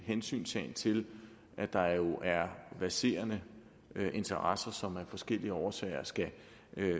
hensyntagen til at der jo er verserende interesser som af forskellige årsager